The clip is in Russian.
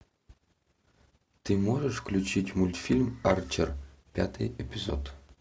ты можешь включить мультфильм арчер пятый эпизод